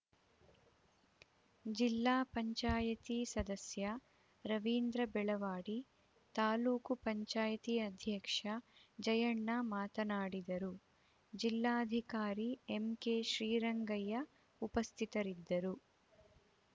ಜಿಲ್ಲಾ ಪಂಚಾಯಿತಿ ಸದಸ್ಯ ರವೀಂದ್ರ ಬೆಳವಾಡಿ ತಾಲೂಕು ಪಂಚಾಯ್ತಿ ಅಧ್ಯಕ್ಷ ಜಯಣ್ಣ ಮಾತನಾಡಿದರು ಜಿಲ್ಲಾಧಿಕಾರಿ ಎಂಕೆ ಶ್ರೀರಂಗಯ್ಯ ಉಪಸ್ಥಿತರಿದ್ದರು